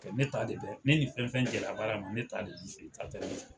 Ne t'a de ne ni fɛn fɛn jɛla bara ma ne ta de b'o fɛ